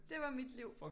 Det var mit liv